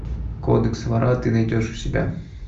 кодекс вора ты найдешь у себя